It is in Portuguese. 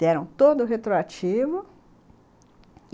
Deram todo o retroativo.